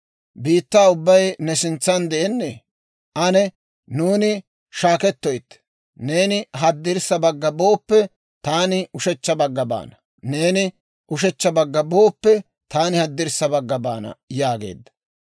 Biittaa ubbay ne sintsan de'ennee? Ane nuuni shaakettoytte; neeni haddirssa bagga booppe, taani ushechcha bagga baana; neeni ushechcha bagga booppe, taani haddirssa bagga baana» yaageedda.